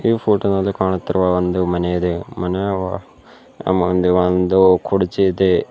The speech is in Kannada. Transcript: ಈ ಫೋಟೋ ನಲ್ಲಿ ಕಾಣುತ್ತಿರುವ ಒಂದು ಮನೆ ಇದೆ ಮನೆಯ ಒಳ ಮುಂದೆ ಒಂದು ಕುರ್ಚಿ ಇದೆ.